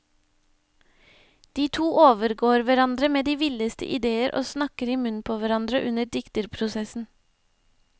De to overgår hverandre med de villeste idéer og snakker i munnen på hverandre under dikterprosessen.